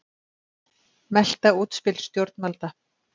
Melta útspil stjórnvalda